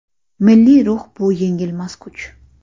Milliy ruh bu yengilmas kuch.